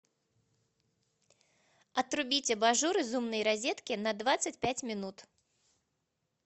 отрубить абажур из умной розетки на двадцать пять минут